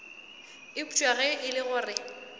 eupša ge e le gore